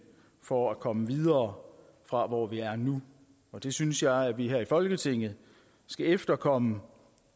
for at komme videre fra hvor vi er nu det synes jeg at vi her i folketinget skal efterkomme